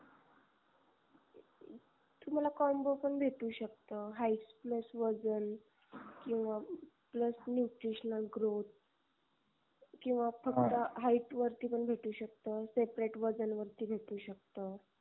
तुम्हाला combo पण भेटू शकत height plus वजन किवा plus nutritional growth किवा फक्त height वरती पण भेटू शकत separate वजन वरती भेटू शकत